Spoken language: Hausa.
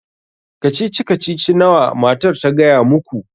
Kacici kacici nawa matar ta gaya muku?